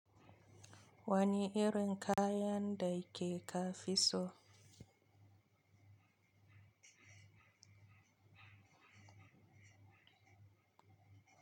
Wani irin kayan da ke ka fi so?